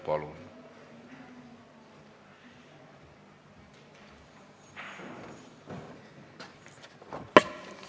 Palun!